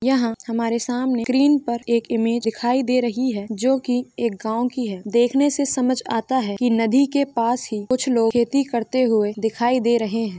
यहाँ हमारे सामने स्क्रीन पर एक इमेज दिखाई दे रही है जो की एक गांव की है देखने से समझ आता है कि नदी के पास ही कुछ लोग खेती करते हुए दिखाई दे रहे हैं।